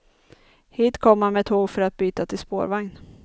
Hit kom man med tåg för att byta till spårvagn.